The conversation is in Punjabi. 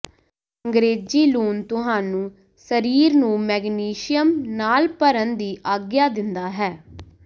ਅੰਗਰੇਜ਼ੀ ਲੂਣ ਤੁਹਾਨੂੰ ਸਰੀਰ ਨੂੰ ਮੈਗਨੇਸ਼ੀਅਮ ਨਾਲ ਭਰਨ ਦੀ ਆਗਿਆ ਦਿੰਦਾ ਹੈ